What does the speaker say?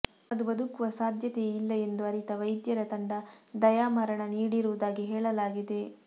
ಅದು ಬದುಕುವ ಸಾಧ್ಯತೆಯೇ ಇಲ್ಲ ಎಂದು ಅರಿತ ವೈದ್ಯರ ತಂಡ ದಯಾಮರಣ ನೀಡಿರುವುದಾಗಿ ಹೇಳಲಾಗಿದೆ